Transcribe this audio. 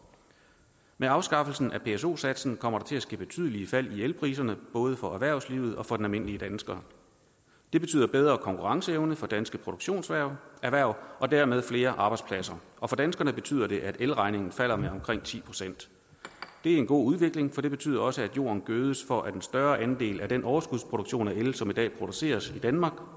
med afskaffelsen af pso satsen kommer der til at ske betydelige fald i elpriserne både for erhvervslivet og for den almindelige dansker det betyder bedre konkurrenceevne for danske produktionserhverv og dermed flere arbejdspladser og for danskerne betyder det at elregningen falder med omkring ti procent det er en god udvikling for det betyder også at jorden gødes for at en større andel af den overskudsproduktion af el som i dag produceres i danmark